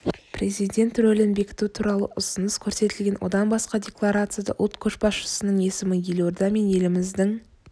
президент рөлін бекіту туралы ұсыныс көрсетілген одан басқа декларацияда ұлт көшбасшысының есімі елорда мен еліміздің